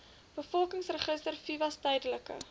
bevolkingsregister visas tydelike